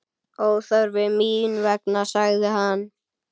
Óþarfi mín vegna, sagði hann.